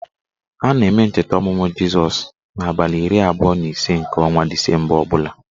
A na-eme ncheta ọmụmụ Jizọs n' abalị iri abụọ na ise nke ọnwa disemba ọbụla